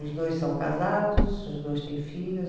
Os dois são casados, os dois têm filhos.